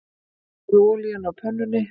Hitaðu olíuna á pönnunni.